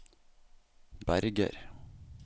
Berger